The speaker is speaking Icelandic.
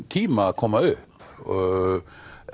tíma að koma upp og